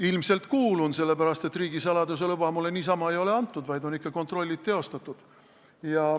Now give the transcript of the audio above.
Ilmselt kuulun, sellepärast, et riigisaladuse luba niisama ei ole mulle antud, vaid on ikka kontrollid teostatud.